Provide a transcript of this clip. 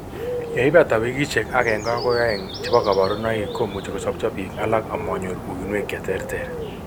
Yeibata wikishek 1-2 chebo kaborunoik komuchi kosopcho biik alak amanyor uinwek cheterter